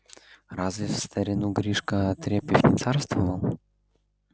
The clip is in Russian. разве в старину гришка отрепьев не царствовал